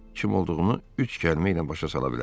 Kim olduğumu üç kəlmə ilə başa sala bilərəm.